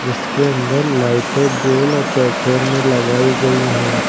इसके अंदर लाइटें गोल और चौकोर में लगाई गई हैं।